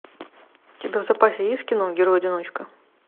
у тебя в запасе есть кино герой одиночка